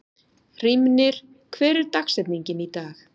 Hrímnir, hver er dagsetningin í dag?